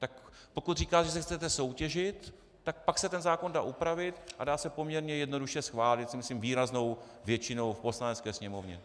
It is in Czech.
Tak pokud říkáte, že se chcete soutěžit, tak pak se ten zákon dá upravit a dá se poměrně jednoduše schválit, si myslím, výraznou většinou v Poslanecké sněmovně.